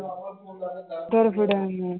ਦੁਰ ਫਿਟੇ ਮੂੰਹ।